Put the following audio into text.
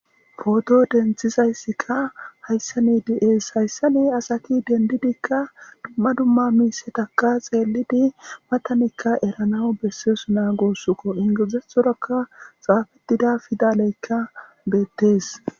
pooto denthizayssikka hayssani di7ees hayssane asaki dendidikka dumma dumma miisetakka xeelidi matanikka eranaw besseesu naa gosuko ingeedzethorakka xaafetida fidaleykka beettees